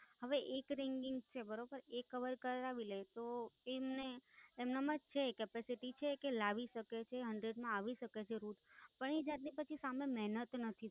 હવે એક ringing છે બરોબર એ કવર કરાવી લેય તો એમને એમનામ જ છે Capacity છે કે લાવી શકે છે Hundred માં આવી શકે છે route પણ એ જાત ની સામે મહેનત નથી